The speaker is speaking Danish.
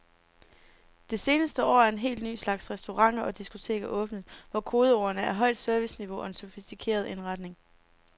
Det seneste år er en helt ny slags restauranter og diskoteker åbnet, hvor kodeordene er højt serviceniveau og en sofistikeret indretning.